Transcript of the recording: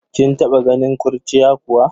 Kin taba ganin kurciya kuwa?